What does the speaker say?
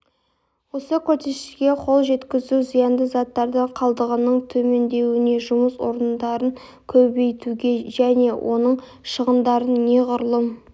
осы көрсеткіштерге қол жеткізу зиянды заттар қалдығының төмендеуіне жұмыс орындарын көбейтуге және отын шығындарын неғұрлым